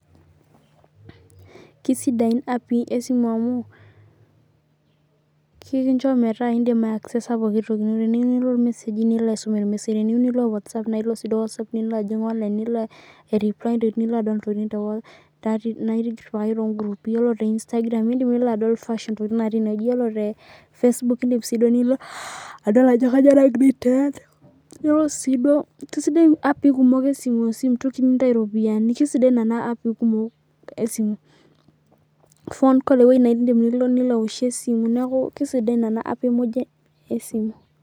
Kisidain api esimu amu kekincho metaa indim ai accesa pookin wueji nilo , teniiyieu nilo watsapp nilo ajing online nilo aireply ntokitin nairiwaki tongrupi yiolo te Instagram ino nilo adol fashioni ntokitin natii inewueji yiolo tel Facebook nilo adol ajo kanyio nagira ai trend kesidai api esimu amu entoki nintau iropiyiani kesidan nona api kumol esimu phone call ewoi nindim nilo aoshie esimu